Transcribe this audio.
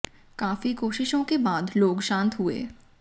काफी कोशिशों के बाद लोग शांत हुए